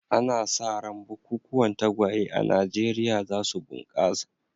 Ana sa ran bukukuwan tagwaye a Najeriya za su bunƙasa.